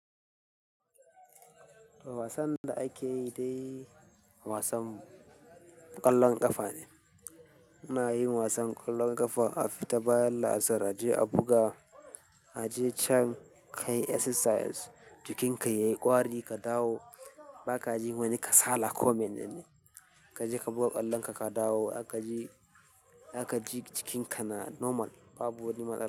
Wasan da ake yi dai wasan ƙwallon ƙafa ne. Muna yin wasan ƙwallon ƙafa a fita bayan laasar, a je a buga, a je can ka yi exercise, jikinka yayi ƙwari ka dawo, baka ji wani kasala ko menene. Ka je ka buga ƙwallon ka ka dawo, zaka ji, zaka ji jikinka na normal babu wani matsala.